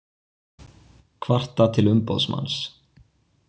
Kvarta til umboðsmanns